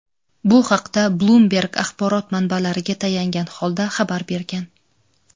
Bu haqda "Bloomberg" axborot manbalariga tayangan holda xabar bergan.